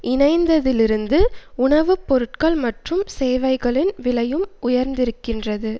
இணைந்ததிலிருந்து உணவு பொருட்கள் மற்றும் சேவைகளின் விலையும் உயர்ந்திருக்கின்றது